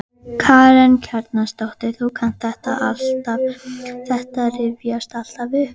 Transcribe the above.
Karen Kjartansdóttir: Þú kannt þetta alltaf, þetta rifjast alltaf upp?